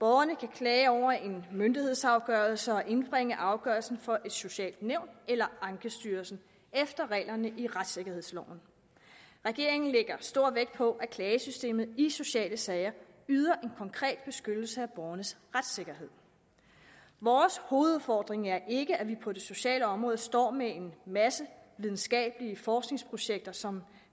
borgerne kan klage over en myndighedsafgørelse og indbringe afgørelsen for et socialt nævn eller ankestyrelsen efter reglerne i retssikkerhedsloven regeringen lægger stor vægt på at klagesystemet i sociale sager yder en konkret beskyttelse af borgernes retssikkerhed vores hovedudfordring er ikke at vi på det sociale område står med en masse videnskabelige forskningsprojekter som